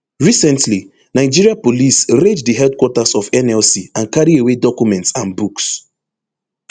recently nigeria police raid di headquarters of nlc and carry away documents and books